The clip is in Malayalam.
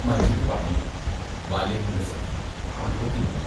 മജീദ് പറഞ്ഞു: ബാല്യകാലസഖി മുപ്പത്തിമൂന്ന്